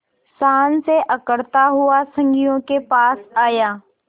शान से अकड़ता हुआ संगियों के पास आया